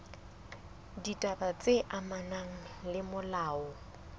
ditaba tse amanang le molao